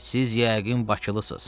Siz yəqin bakılısız.